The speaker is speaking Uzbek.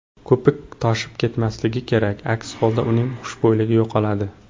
Ko‘pik toshib ketmasligi kerak, aks holda uning xushbo‘yligi yo‘qoladi.